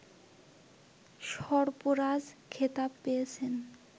সর্পরাজ খেতাব পেয়েছেন